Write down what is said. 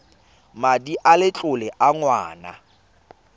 madi a letlole a ngwana